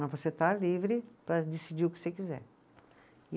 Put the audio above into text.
Mas você está livre para decidir o que você quiser. E